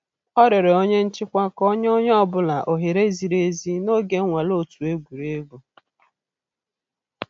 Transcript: Ọ rịọrọ onye nchịkwa ka o nye onye ọ bụla ohere ziri ezi n'oge nnwale otu egwuregwu.